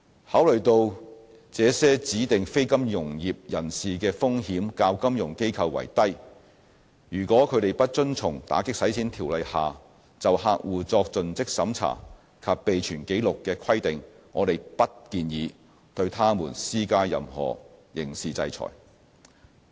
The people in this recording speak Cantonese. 考慮到這些指定非金融業人士的風險較金融機構為低，如果他們不遵從《條例》下就客戶作盡職審查及備存紀錄的規定，我們不建議對他們施加任何刑事制裁。